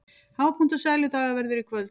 Hápunktur Sæludaga verður í kvöld